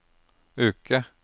uke